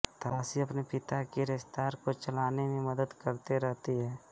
ताशी अपने पिता की रेस्तरां को चलाने में मदद करते रहती है